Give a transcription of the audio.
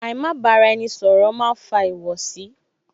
Àì má bára ẹni ṣọ̀rọ̀ máa ń fa ìwọ̀sí